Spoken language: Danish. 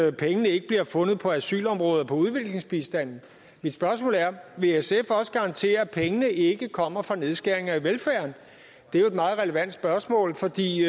at pengene ikke bliver fundet på asylområdet og på udviklingsbistanden mit spørgsmål er vil sf også garantere at pengene ikke kommer fra nedskæringer af velfærden det er et meget relevant spørgsmål fordi